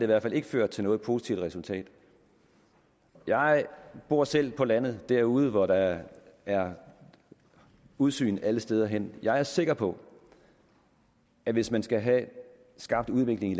hvert fald ikke ført til noget positivt resultat jeg bor selv på landet derude hvor der er udsyn alle steder hen jeg er sikker på at hvis man skal have skabt udvikling i